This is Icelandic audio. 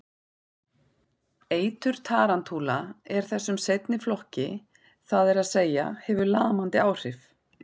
Eitur tarantúla er þessum seinni flokki, það er að segja hefur lamandi áhrif.